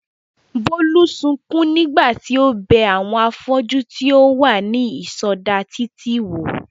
Bólú sukún nígbà tí ó bẹ àwọn afọ́jú tí ó wà ní ìsọdá títì wò